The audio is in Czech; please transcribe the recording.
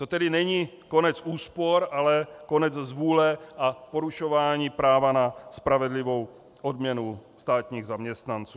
To tedy není konec úspor, ale konec zvůle a porušování práva na spravedlivou odměnu státních zaměstnanců.